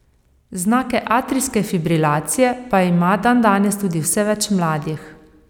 Znake atrijske fibrilacije pa ima dandanes tudi vse več mladih.